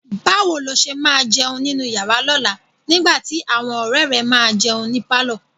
Báwo ló ṣe máa jẹun nínú yàrá lọ́la nígbà tí àwọn ọ̀rẹ́ẹ̀ rẹ máa jẹun ní pálọ̀?